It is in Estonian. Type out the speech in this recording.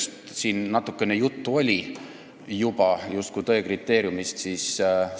Turu-uuringute küsitlusest kui tõe kriteeriumist natukene juba juttu oli.